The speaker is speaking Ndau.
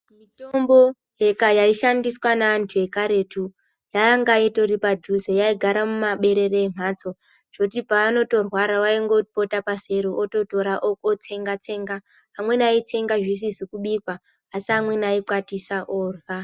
Mitombo yaishandiswa naantu ekaretu yanga itori padhuze yaigara mumaberere emhatso zvekuti paanotorwara waingopota paseri ototora otsenga-tsenga. Amweni aitsenga zvisizi kubikwa asi ameni aikwatisa orya.